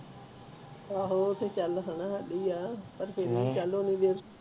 ਏਹੋ ਉਹ ਤੇ ਚੱਲ ਹੁਣ ਹਾੜੀ ਆ ਪਰ ਫਰ ਵੀ